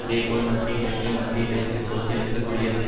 அதே போல் மத்திய கிழக்கில் மத்திய கிழக்கு சோசியலிச குடியரசு